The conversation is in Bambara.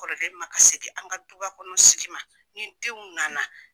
Kɔrɔlen ma gasi di an ka du ba kɔnɔ sigi ni denw nana.